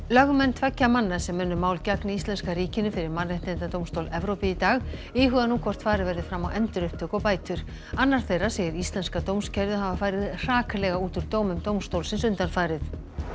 lögmenn tveggja manna sem unnu mál gegn íslenska ríkinu fyrir Mannréttindadómstól Evrópu í dag íhuga nú hvort farið verði fram á endurupptöku og bætur annar þeirra segir íslenska dómskerfið hafa farið hraklega út úr dómum dómstólsins undanfarið